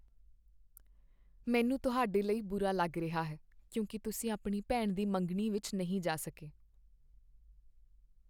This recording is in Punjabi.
ਮੈਨੂੰ ਤੁਹਾਡੇ ਲਈ ਬੁਰਾ ਲੱਗ ਰਿਹਾ ਹੈ ਕਿਉਂਕਿ ਤੁਸੀਂ ਆਪਣੀ ਭੈਣ ਦੀ ਮੰਗਣੀ ਵਿੱਚ ਨਹੀਂ ਜਾ ਸਕੇ।